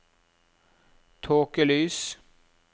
tåkelys